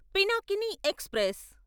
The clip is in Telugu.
పినాకిని ఎక్స్ప్రెస్